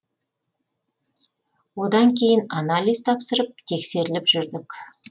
одан кейін анализ тапсырып тексеріліп жүрдік